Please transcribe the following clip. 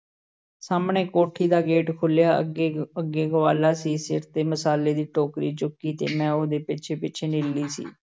ਸਾਹਮਣੇ ਕੋਠੀ ਦਾ gate ਖੁੱਲ੍ਹਿਆ, ਅੱਗੇ-ਅੱਗੇ ਗਵਾਲਾ ਸੀ, ਸਿਰ 'ਤੇ ਮਸਾਲੇ ਦੀ ਟੋਕਰੀ ਚੁੱਕੀ ਤੇ ਮੈਂ ਉਹਦੇ ਪਿੱਛੇ-ਪਿੱਛੇ ਨੀਲੀ ਸੀ।